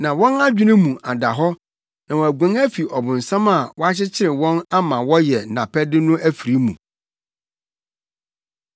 Na wɔn adwene mu ada hɔ na wɔaguan afi ɔbonsam a wakyekyere wɔn ama wɔyɛ nʼapɛde no afiri mu.